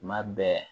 Tuma bɛɛ